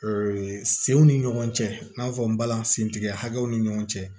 senw ni ɲɔgɔn cɛ i n'a fɔ n balanin sen tigɛ hakɛw ni ɲɔgɔn cɛ